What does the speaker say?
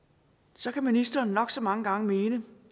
så kan ministeren nok så mange gange mene